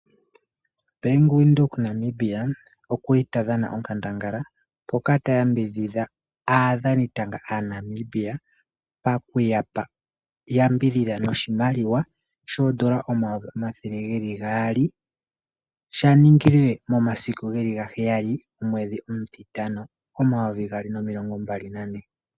Bank Windhoek Namibia oku li ta dhana onkandangala mpoka ta yambidhidha aadhanita ga aaNamibia paku yapa, yambidhidha noshimaliwa shoondola 200000 sha ningile momasiku 7 gomwedhi omutitano 2024.